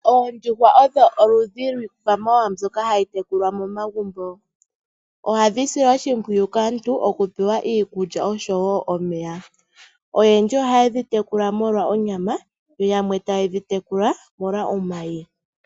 Oondjuhwa odho oludhi lwiikwamawaa mbyoka hayintekukwa momagumbo ohadhi silwa oshimowiyu kaantu okuoewa iikulya osho woonomeya. Oyendji ohaye dhi tekula omolwa onyama yoyamwe tayedhi tekula molwa omayi.